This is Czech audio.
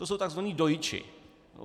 To jsou takzvaní dojiči.